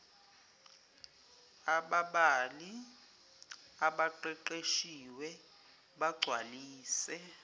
ababali abaqeqeshiwe bagcwalise